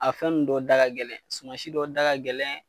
A fɛn nun dɔw da ka gɛlɛn suman si dɔw da ka gɛlɛn